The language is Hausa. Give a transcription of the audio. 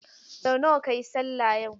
Sau nawa kayi sallah yau?